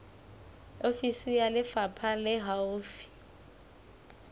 ofisi ya lefapha le haufi